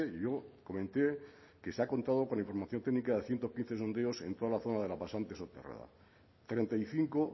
yo comenté que se ha contado con la información técnica de ciento quince sondeos en toda la zona de la pasante soterrada treinta y cinco